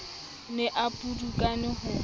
o ne a pudukane ho